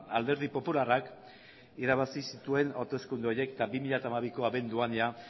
alderdi popularrak irabazi zituen hauteskunde horiek eta bi mila hamabiko abenduan jada